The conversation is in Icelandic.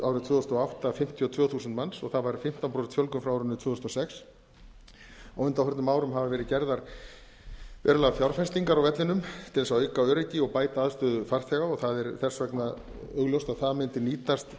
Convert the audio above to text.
þúsund og átta fimmtíu og tvö þúsund manns og það var fimmtán prósent fjölgun frá árinu tvö þúsund og sex á undanförnum árum hafa verið gerðar töluverðar fjárfestingar á vellinum til að auka öryggi og bæta aðstöðu farþega og það er þess vegna augljóst að það mundi nýtast